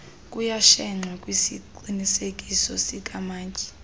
kuyashenxwa kwisiqinisekiso sikamantyi